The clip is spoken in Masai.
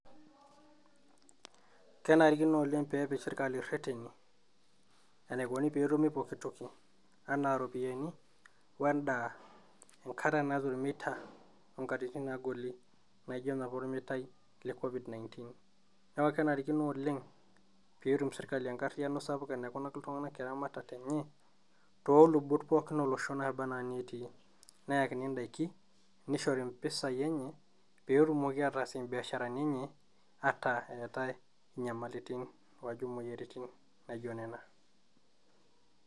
Not audible